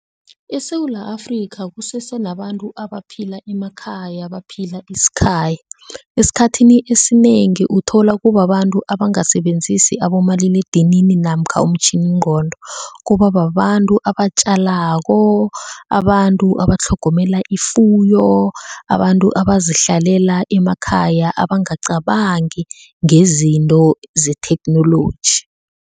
ESewula Afrika kusese nabantu abaphila emakhaya baphila isikhaya, esikhathini esinengi uthola kubabantu abangasebenzisi abomaliledinini namkha umtjhininqondo, kuba babantu abatjalako, abantu abatlhogomela ifuyo, abantu abazihlalela emakhaya abangacabangi ngezinto zetheknoloji.